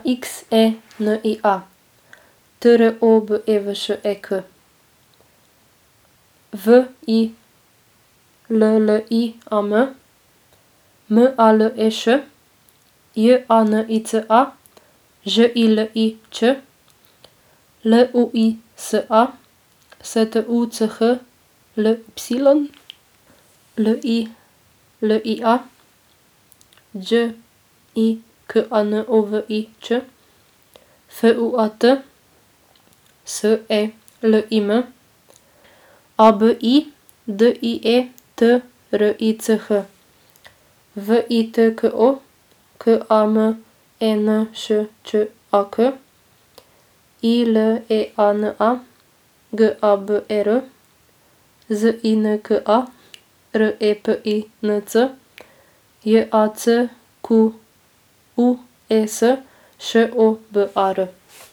X E N I A, T R O B E V Š E K; W I L L I A M, M A L E Š; J A N I C A, Ž I L I Ć; L U I S A, S T U C H L Y; L I L I A, Đ I K A N O V I Ć; F U A T, S E L I M; A B I, D I E T R I C H; V I T K O, K A M E N Š Č A K; I L E A N A, G A B E R; Z I N K A, R E P I N C; J A C Q U E S, Š O B A R.